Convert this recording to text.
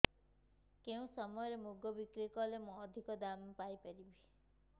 କେଉଁ ସମୟରେ ମୁଗ ବିକ୍ରି କଲେ ମୁଁ ଅଧିକ ଦାମ୍ ପାଇ ପାରିବି